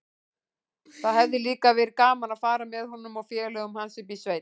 Það hefði líka verið gaman að fara með honum og félögum hans upp í sveit.